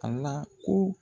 Ala ko